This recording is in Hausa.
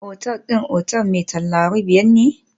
Otal din otel mai tauraro biyar ne?